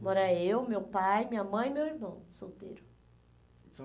Mora eu, meu pai, minha mãe e meu irmão, solteiro. São